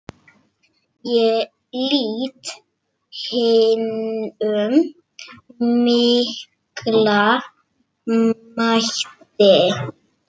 Ég lýt hinum mikla mætti.